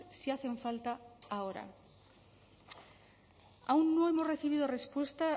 si hacen falta ahora aún no hemos recibido respuesta